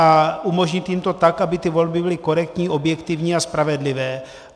A umožnit jim to tak, aby ty volby byly korektní, objektivní a spravedlivé.